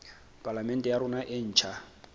palamente ya rona e ntjha